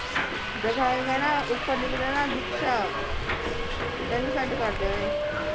ਦਿਖਾ ਕੇ ਕਹਿਣਾ ਉਪਰ ਲਿਖ ਦੇਣਾ ਦਿਕਸ਼ਾ ਤੈਨੂੰ ਕਰ ਦੇਣੇ।